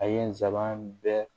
A ye n sabanan bɛɛ